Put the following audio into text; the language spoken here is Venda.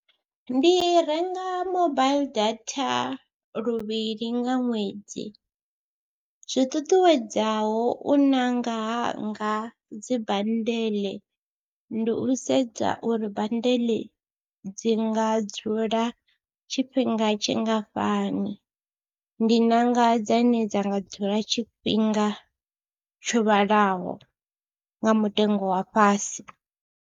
Ndi renga mobaiḽi data luvhili nga ṅwedzi, zwi ṱuṱuwedzaho u ṋanga hanga dzi bandeḽe ndi u sedza uri bandeḽe dzi nga dzula tshifhinga tshingafhani, ndi ṋanga dzane dza nga dzula tshifhinga tsho vhalaho nga mutengo wa fhasi.